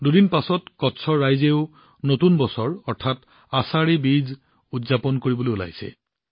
দুদিন পিছত কচ্চৰ ৰাইজেও নতুন বছৰ অৰ্থাৎ আশাধী বীজ উদযাপন কৰিবলৈ ওলাইছে